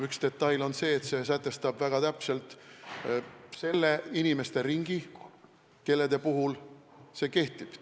Üks detail on see, et väga täpselt on sätestatud inimeste ring, kelle kohta see kehtib.